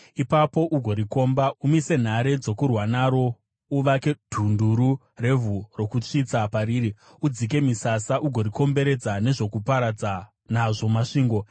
Ipapo ugorikomba: Umise nhare dzokurwa naro, uvake dhunduru revhu rokusvitsa pariri, udzike misasa ugorikomberedza nezvokuparadza nazvo masvingo.